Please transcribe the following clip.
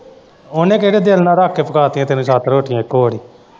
ਉਹਨੇ ਕਿਹੜੇ ਦਿਲ਼ ਨਾਲ਼ ਰੱਖ ਕੇ ਪਕਾ ਦਿੱਤੀਆਂ ਤੈਨੂੰ ਸੱਤ ਰੋਟੀਆਂ ਇੱਕੋ ਵਾਰੀ।